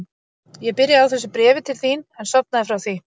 Ég byrjaði á þessu bréfi til þín en sofnaði frá því.